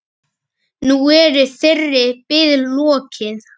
Nú er þeirri bið lokið.